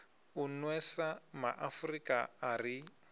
u nwesa maafrika a ri